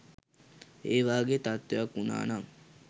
ඒ වගේ තත්ත්වයක් වුණා නම්